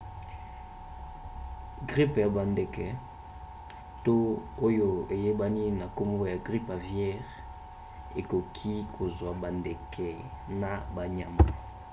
gripe ya bandeke to oyo eyebani na nkombo ya gripe aviaire ekoki kozwa bandeke na banyama